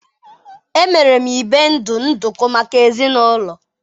emere m ibe ndu nduku maka ezinaụlọ.